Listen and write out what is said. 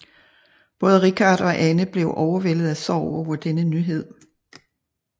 Både Richard og Anne blev overvældet af sorg over denne nyhed